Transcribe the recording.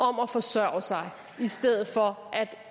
om at forsørge sig i stedet for at